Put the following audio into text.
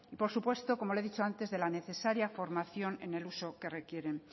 por supuesto como le he dicho antes de la necesaria formación en el uso que requieren